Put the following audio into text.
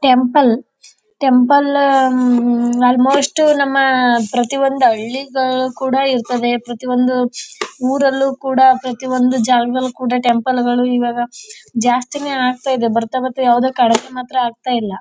Temple temple almost ನಮ್ಮ ಪ್ರತಿ ಒಂದು ಹಳ್ಳಿಗಲಕುಡ ಇರ್ತದೆ ಪ್ರತಿ ಒಂದು ಊರಲ್ಲೂ ಕೂಡ ಪ್ರತಿ ಒಂದು ಜಾಗದಳ ಕೂಡ ಟೆಂಪಲ್ ಗಾಲ ಇವಾಗ ಜಾಸ್ತಿ ನೇ ಆಗ್ತಾಯಿದೆ ಕಡಿಮೆ ಮಾತ್ರ ಆಗ್ತಾಇಲ್ಲ.